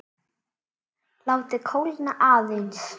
Látið kólna aðeins.